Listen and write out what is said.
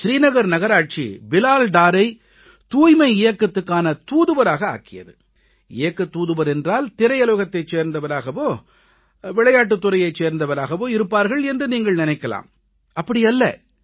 ஸ்ரீநகர் நகராட்சி பிலால் டாரை தூய்மை இயக்கத்துக்கான தூதுவராக ஆக்கியது இயக்கத் தூதுவர் என்றால் திரையுலகத்தைச் சேர்ந்தவராகவோ விளையாட்டுத் துறையைச் சேர்ந்தவராகவோ இருப்பார்கள் என்று நீங்கள் நினைக்கலாம் அப்படி அல்ல